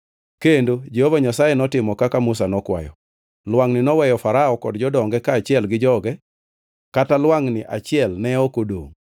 kendo Jehova Nyasaye notimo kaka Musa nokwayo: Lwangʼni noweyo Farao kod jodonge kaachiel gi joge: Kata lwangʼni achiel ne ok odongʼ.